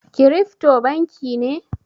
Kirifto banki ne?